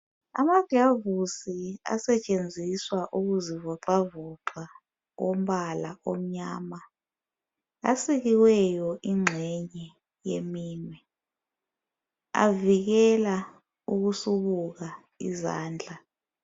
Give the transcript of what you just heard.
Amagilovisi asetshenziswa ukuzivoxavoxa ombala omnyama asikiweyo ingxenye yeminwe avikela ukusubuka izandla